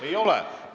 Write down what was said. Ei ole.